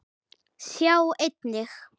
Sjá einnig